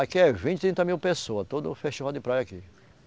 Aqui é vinte, trinta mil pessoa, todo festival de praia aqui.